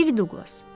Ev Duqlas!